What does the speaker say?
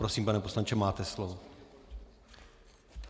Prosím, pane poslanče, máte slovo.